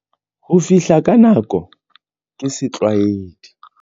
Ho fihla ka nako ke setlwaedi.